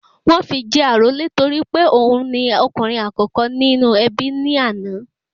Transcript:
Wọ́n fi jẹ àrólé torí pé òun ni okùnrin àkókò nínú ẹbí ní àná